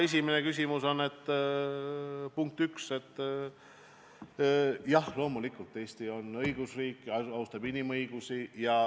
Esimene vastus on, punkt üks, jah, et loomulikult on Eesti õigusriik, austab inimõigusi.